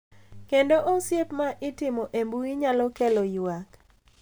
Kendo osiep ma itimo e mbui nyalo kelo ywak .